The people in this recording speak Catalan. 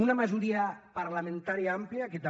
una majoria parlamentària àmplia que també